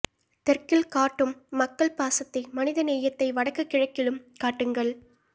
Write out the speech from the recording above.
தெற்கில் காட்டும் மக்கள் பாசத்தை மனித நேயத்தை வடக்கு கிழக்கிலும் காட்டுங்கள்